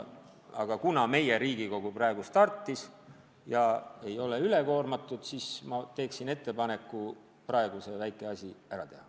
Aga kuna meie Riigikogu praegu startis ja ei ole üle koormatud, siis ma teen ettepaneku praegu see väike asi ära teha.